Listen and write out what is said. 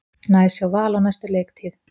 Næs hjá Val á næstu leiktíð